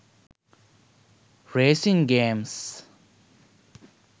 racing games